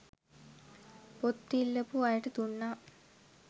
පොත් ඉල්ලපු අයට දුන්නා